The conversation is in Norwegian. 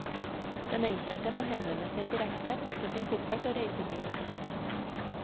Den enkelte må henvende seg direkte, pakke sin koffert og reise dit.